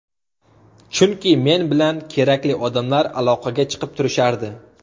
Chunki men bilan kerakli odamlar aloqaga chiqib turishardi.